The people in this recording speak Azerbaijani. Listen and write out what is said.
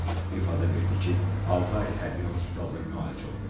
İfadə verdi ki, altı ay hərbi hospitalda müalicə olunub.